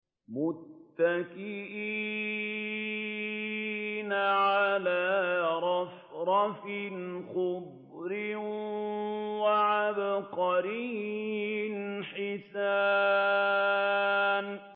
مُتَّكِئِينَ عَلَىٰ رَفْرَفٍ خُضْرٍ وَعَبْقَرِيٍّ حِسَانٍ